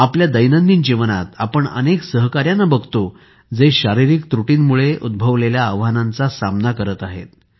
आपल्या दैनंदिन जीवनात आपण अनेक सहकाऱ्यांना बघतो जे शारीरिक त्रुटींमुळे उद्भवलेल्या आव्हानांचा सामना करत आहेत